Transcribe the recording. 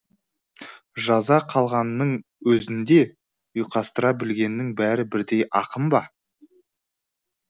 жаза қалғанның өзінде ұйқастыра білгеннің бәрі бірдей ақын ба